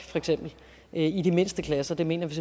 i de mindste klasser det mener vi